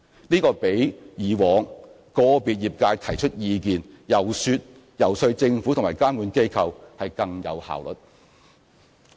這比以往由個別業界提出意見，遊說政府及監管機構更有效率。